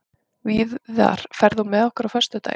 Víðar, ferð þú með okkur á föstudaginn?